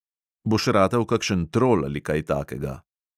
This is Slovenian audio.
"Boš ratal kakšen trol ali kaj takega."